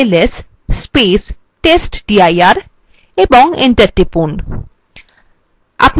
এইগুলির উপস্থিতি দেখার জন্য লিখুন ls testdir এবং enter টিপুন